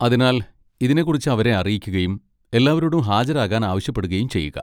അതിനാൽ, ഇതിനെക്കുറിച്ച് അവരെ അറിയിക്കുകയും എല്ലാവരോടും ഹാജരാകാൻ ആവശ്യപ്പെടുകയും ചെയ്യുക.